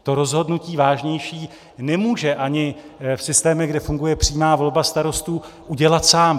To rozhodnutí vážnější nemůže ani v systémech, kde funguje přímá volba starostů, udělat sám.